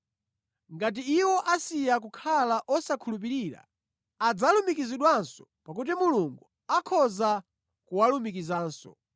Ngati iwo asiya kukhala osakhulupirira, adzalumikizidwanso pakuti Mulungu akhoza kuwalumikizanso.